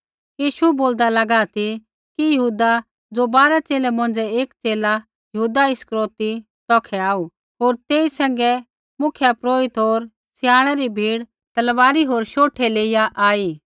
यीशु बोलदा लागा ती कि यहूदा ज़ो बारा च़ेले मौंझ़ै एक च़ेला यहूदा इस्करियोती तौखै आऊ होर तेई सैंघै मुख्यपुरोहिता होर स्याणै री भीड़ तलवारी होर शोठे लेइया आई